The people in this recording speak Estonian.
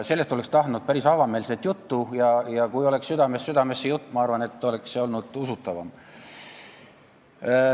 Sellest oleks tahtnud kuulda päris avameelset juttu ja kui oleks olnud südamest südamesse minev jutt, ma arvan, siis oleks see olnud usutavam.